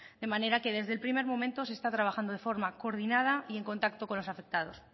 de manera que desde el primer momento se está trabajando de forma coordinada y en contacto con los afectados